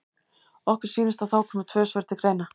Okkur sýnist að þá komi tvö svör til greina.